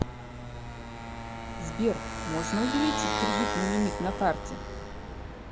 сбер можно увеличить кредитный лимит на карте